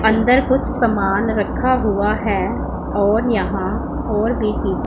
अंदर कुछ सामान रखा हुआ है और यहां और भी चीज--